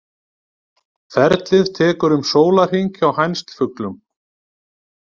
Ferlið tekur um sólarhring hjá hænsfuglum.